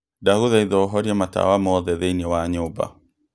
ndagũthaitha ũhorie matawa moothe thĩinĩ wa nyũmba